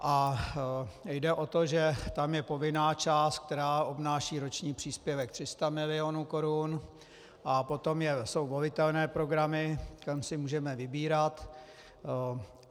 A jde o to, že tam je povinná část, která obnáší roční příspěvek 300 milionů korun, a potom jsou volitelné programy, tam si můžeme vybírat.